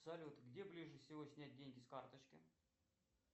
салют где ближе всего снять деньги с карточки